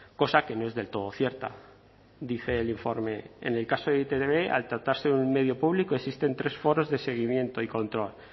cosa que no es del todo cierta dice el informe en el caso de e i te be al tratarse de un medio público existen tres foros de seguimiento y control